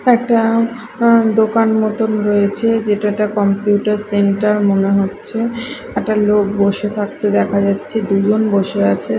একটা আহ দোকান মতন রয়েছে যেটাতে কম্পিউটার সেন্টার মনে হচ্ছে একটা লোক বসে থাকতে দেখা যাচ্ছে দুজন বসে আছে।